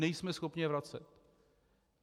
Nejsme schopni je vracet.